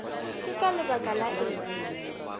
ke ka lebaka la eng